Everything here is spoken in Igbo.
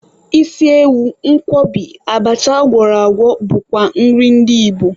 Isi ewu, Nkwobi, abacha agwọrọ agwọ bụkwa nri ndị Igbo.